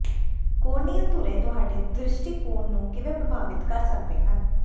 corneal ਧੁਰੇ ਤੁਹਾਡੇ ਦ੍ਰਿਸ਼ਟੀਕੋਣ ਨੂੰ ਕਿਵੇਂ ਪ੍ਰਭਾਵਿਤ ਕਰ ਸਕਦੇ ਹਨ